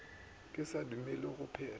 ka se dumelelwe go phetha